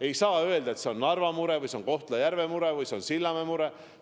Ei saa öelda, et see on Narva mure või Kohtla-Järve mure või Sillamäe mure.